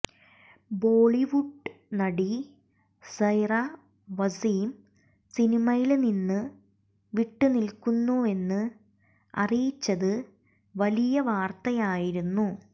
ബോളിവുഡ് നടി സൈറ വസീം സിനിമയില് നിന്ന് വിട്ട് നില്ക്കുന്നുവെന്ന് അറിയിച്ചത് വലിയ വാര്ത്തയായിരുന്നു